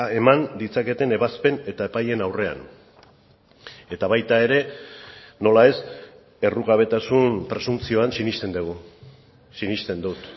eman ditzaketen ebazpen eta epaileen aurrean eta baita ere nola ez errugabetasun presuntzioan sinesten dugu sinesten dut